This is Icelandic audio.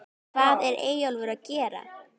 HVAÐ ER EYJÓLFUR AÐ GERA????